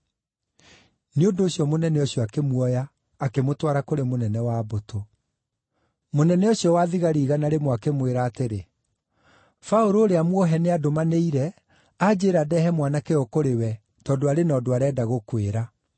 Nĩ ũndũ ũcio mũnene ũcio akĩmuoya, akĩmũtwara kũrĩ mũnene wa mbũtũ. Mũnene ũcio wa thigari igana rĩmwe akĩmwĩra atĩrĩ, “Paũlũ, ũrĩa muohe nĩandũmanĩire anjĩĩra ndeehe mwanake ũyũ kũrĩ we tondũ arĩ na ũndũ arenda gũkwĩra.”